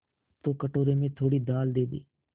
तो कटोरे में थोड़ी दाल दे दे